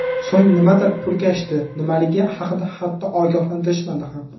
So‘ng nimadir purkashdi, nimaligi haqida hatto ogohlantirishmadi ham.